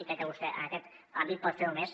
i crec que vostè en aquest àmbit pot fer molt més